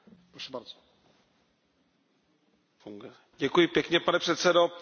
Ta debata, která tady probíhá, je mimořádně zajímavá, vážená paní komisařko.